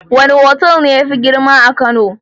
Wane otal ne yafi kowane girma a kano?